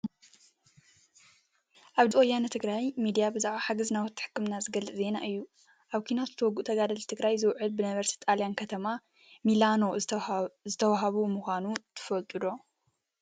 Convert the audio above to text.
ኣብ ድምፂ ወያኔ ትግራይ ሚድያ ብዛዕባ ሓገዝ ናውቲ ሕክምና ዝገልፅ ዜና እዩ። ኣብ ኩናት ዝተወጉኡ ተጋደልቲ ትግራይ ዝውዕል ብነበርቲ ጣልያን ከተማ ሚላኖ ዝተዋህበ ምኳኑ ትፈልጡ ዶ?